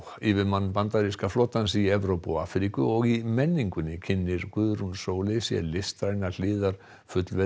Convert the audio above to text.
yfirmann bandaríska flotans í Evrópu og Afríku og í menningunni kynnir Guðrún Sóley sér listrænar hliðar